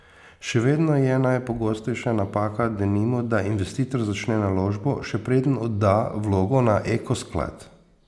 Še vedno je najpogostejša napaka, denimo, da investitor začne naložbo, še preden odda vlogo na Eko sklad.